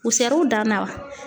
U sɛr'u dan na wa?